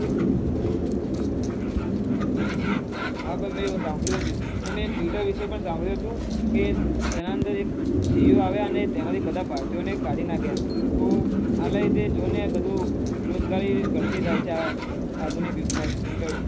હા મેં સાંભળ્યું હતું અને મેં twitter વિશે સંભ્લુય હતું તેના અંદર એક CA આવિયા અને તેમાંથી બઘા ભારતી ઔ ને કાઢી દીઘા